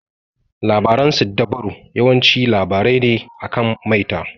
Labaran siddabaru yawanci labarai ne akan maita.